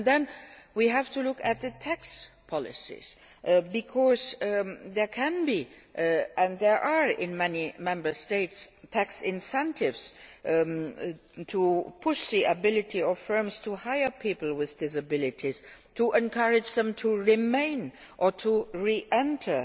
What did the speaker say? disabilities. Then we have to look at the tax policies, because there can be and there are in many Member States tax incentives to push the ability of firms to hire people with disabilities and encourage them to remain